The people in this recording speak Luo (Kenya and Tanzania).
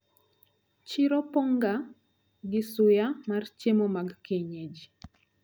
Chiro pong` ga gi suya mar chiemo mag kienyeji.